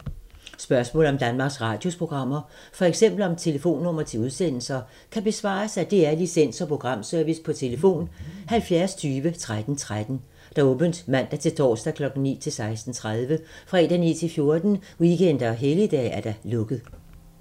Spørgsmål om Danmarks Radios programmer, f.eks. om telefonnumre til udsendelser, kan besvares af DR Licens- og Programservice: tlf. 70 20 13 13, åbent mandag-torsdag 9.00-16.30, fredag 9.00-14.00, weekender og helligdage: lukket.